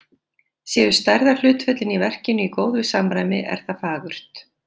Séu stærðarhlutföllin í verkinu í góðu samræmi, er það fagurt.